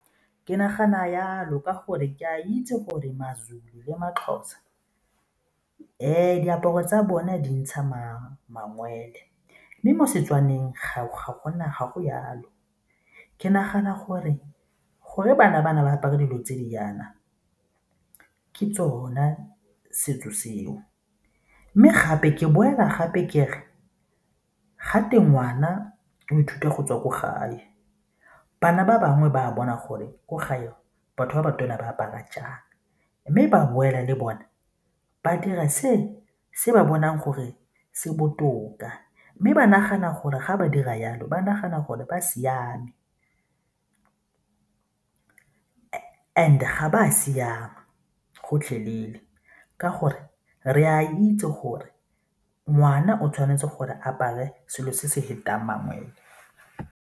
Ke nagana jalo ka gore ke a itse gore ma-Zulu le ma-Xhosa. Diaparo tsa bone di ntsha mangwele mme mo Setswaneng gate gago jalo. Ke nagana gore, gore bana ba na ba apare dilo tse di jaana ke tsone setso seo mme gape ke boela gape kere gate ngwana o ithuta go tswa kwa gae. Bana ba bangwe ba bona gore ko gae batho ba ba tona ba apara jang mme ba boela le bona ba dira se se ba bonang gore se botoka mme ba nagana gore ga ba dira jalo ba nagana gore ba siame ba a siama gotlhelele ka gore re a itse gore ngwana o tshwanetse gore apare selo se se fetang mangwele.